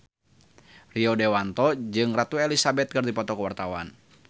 Rio Dewanto jeung Ratu Elizabeth keur dipoto ku wartawan